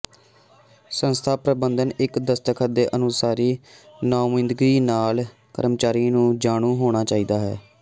ਸੰਸਥਾ ਪ੍ਰਬੰਧਨ ਇੱਕ ਦਸਤਖਤ ਦੇ ਅਨੁਸਾਰੀ ਨੁਮਾਇੰਦਗੀ ਨਾਲ ਕਰਮਚਾਰੀ ਨੂੰ ਜਾਣੂ ਹੋਣਾ ਚਾਹੀਦਾ ਹੈ